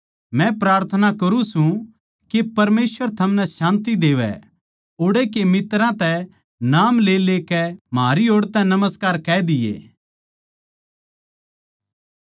मै प्रार्थना करुँ सूं के परमेसवर थमनै शान्ति देवै ओड़े के मित्तरां तै नाम लेलेकै म्हारी ओड़ नमस्कार कह दिये